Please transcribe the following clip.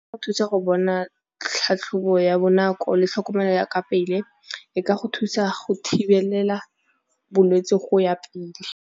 Thusa go bona tlhatlhobo ya bonako le tlhokomelo ya ka pele, e ka go thusa go thibelela bolwetsi go ya pele.